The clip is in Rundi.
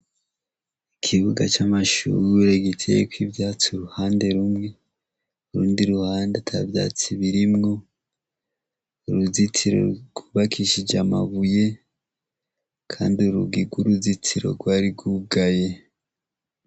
Ikibuga c'amashure giteyeko ivyatsi uruhande rumwe, utundi ruhande atavyatsi birimwo uruzitiro gwubakishije amabuye Kandi urugi gwuruzitiro gwari gwugaye.